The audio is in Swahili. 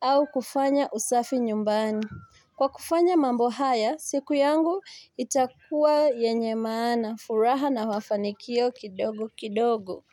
au kufanya usafi nyumbani Kwa kufanya mambo haya, siku yangu itakuwa yenye maana, furaha na mafanikio kidogo kidogo.